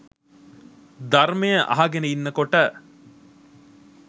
ධර්මය අහගෙන ඉන්න කොට